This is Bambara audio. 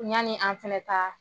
Yaani an fɛnɛta